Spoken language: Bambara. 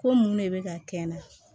Ko mun ne bɛ ka kɛ n na